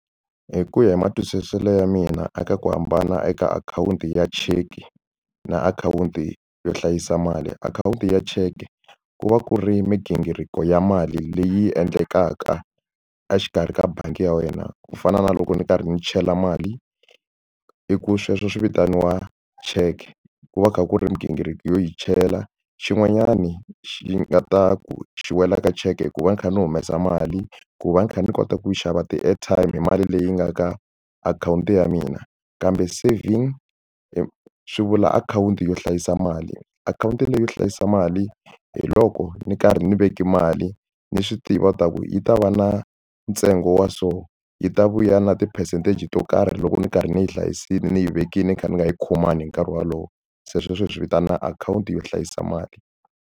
Hi ku ya hi matwisiselo ya mina eka ku hambana eka akhawunti ya cheque na akhawunti yo hlayisa mali akhawunti ya cheque ku va ku ri migingiriko ya mali leyi endlekaka exikarhi ka bangi ya wena ku fana na loko ni karhi ni chela mali i ku sweswo swi vitaniwa cheque ku va kha ku ri migingiriko yo yi chela xin'wanyani xi nga ta ku xi wela ka cheque ku va ni kha ni humesa mali ku va ni kha ni kota ku xava ti-airtime hi mali leyi nga ka akhawunti ya mina kambe saving swi vula akhawunti yo hlayisa mali akhawunti leyi yo hlayisa mali hi loko ni karhi ni veke mali ni swi tiva ta ku yi ta va na ntsengo wa so yi ta vuya na ti-percentage to karhi loko ni karhi ni yi hlayisile ni yi vekile ni kha ni nga yi khomangi hi nkarhi wolowo se sweswo hi swi vitana akhawunti yo hlayisa mali.